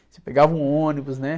Você pegava um ônibus, né?